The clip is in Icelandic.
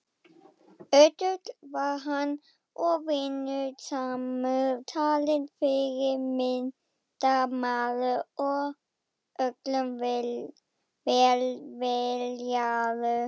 Ötull var hann og vinnusamur talinn fyrirmyndarmaður og öllum velviljaður.